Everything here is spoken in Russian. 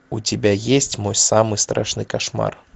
у тебя есть мой самый страшный кошмар